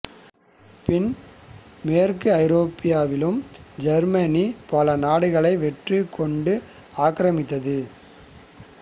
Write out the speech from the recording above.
பின் மேற்கு ஐரோப்பாவிலும் ஜெர்மனி பல நாடுகளை வெற்றி கொண்டு ஆக்கிரமித்தது